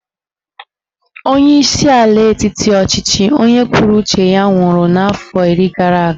Onyeisi ala etiti ọchịchị onye kwuo uche ya nwụrụ n'afọ iri gara aga